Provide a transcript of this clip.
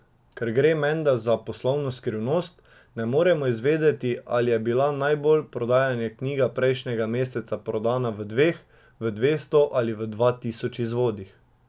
Ker gre menda za poslovno skrivnost, ne moremo izvedeti, ali je bila najbolj prodajana knjiga prejšnjega meseca prodana v dveh, v dvesto ali v dva tisoč izvodih.